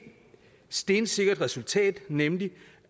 stensikkert resultat nemlig